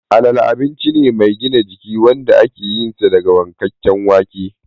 Alale abinci ne mai gina jiki wanda ake yinsa daga wankakken wake